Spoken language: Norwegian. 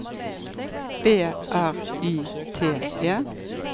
B R Y T E